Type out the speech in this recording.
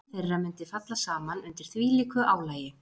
Líkami þeirra mundi falla saman undir þvílíku álagi.